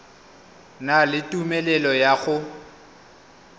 na le tumelelo ya go